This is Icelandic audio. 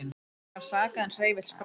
Engan sakaði er hreyfill sprakk